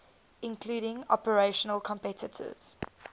including international competitors